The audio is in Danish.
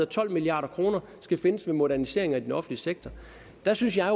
tolv milliard kroner skal findes ved moderniseringer i den offentlige sektor der synes jeg